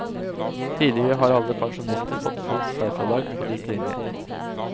Tidligere har alle pensjonister fått fullt særfradrag på lik linje.